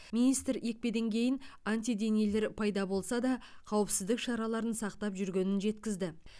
министр екпеден кейін антиденелер пайда болса да қауіпсіздік шараларын сақтап жүргенін жеткізді